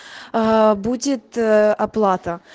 аа будет оплата